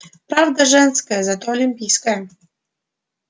правда женская зато олимпийская